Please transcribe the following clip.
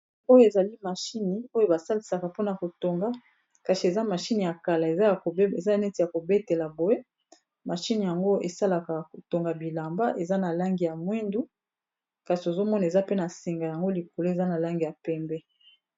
Oyo ezali mashine oyo basalisaka mpona kotonga kasi eza mashine ya kala eza neti ya kobetela boye mashine yango esalaka kotonga bilamba eza na langi ya mwindu kasi ozomona eza pe na singa yango likolo eza na langi ya pembe.